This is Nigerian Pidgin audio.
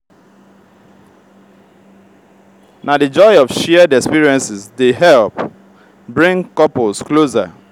na di joy of shared experiences dey help bring couples closer.